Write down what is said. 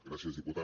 gràcies diputat